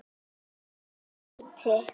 Ég heiti